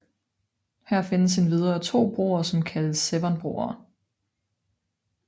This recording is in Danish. Her findes endvidere to broer som kaldes Severnbroerne